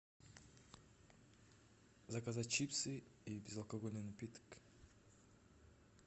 заказать чипсы и безалкогольный напиток